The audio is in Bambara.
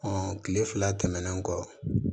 kile fila tɛmɛnen kɔ